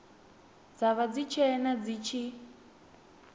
dza vha dzitshena dzi tshi